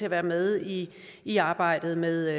at være med i i arbejdet med